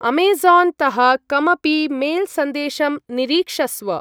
अमेज़ान्-तः कमपि मेल्-सन्देशं निरीक्षस्व।